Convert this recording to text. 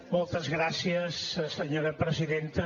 moltes gràcies senyora presidenta